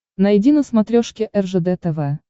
найди на смотрешке ржд тв